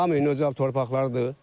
Hamının özəl torpaqlarıdır.